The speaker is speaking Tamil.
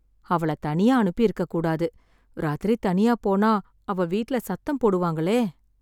அவள தனியா அனுப்பியிருக்கக் கூடாது... ராத்திரி தனியா போனா, அவ வீட்ல சத்தம் போடுவாங்களே...